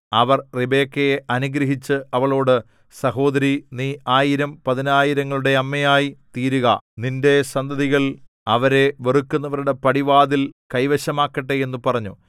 അവർ റിബെക്കയെ അനുഗ്രഹിച്ചു അവളോട് സഹോദരീ നീ ആയിരം പതിനായിരങ്ങളുടെ അമ്മയായി തീരുക നിന്റെ സന്തതികൾ അവരെ വെറുക്കുന്നവരുടെ പടിവാതിൽ കൈവശമാക്കട്ടെ എന്നു പറഞ്ഞു